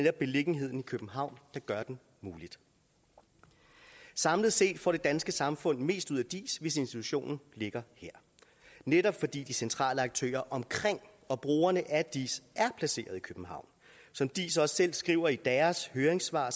er beliggenheden i københavn der gør den mulig samlet set får det danske samfund mest ud af diis hvis institutionen ligger her netop fordi de centrale aktører omkring og brugerne af diis er placeret i københavn som diis også selv skriver i deres høringssvar